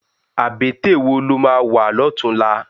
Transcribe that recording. Abètè wó ló má wá lòtúnlá?